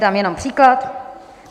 Dám jenom příklad.